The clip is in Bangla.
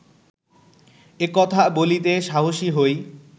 এ কথা বলিতে সাহসী হই